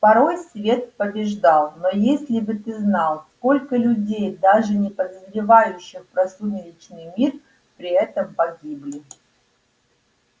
порой свет побеждал но если бы ты знал сколько людей даже не подозревающих про сумеречный мир при этом погибли